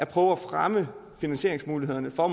på at fremme finansieringsmulighederne for